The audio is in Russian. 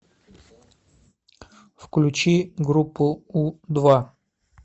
включи группу у два